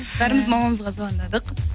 бәріміз мамамызға звандадық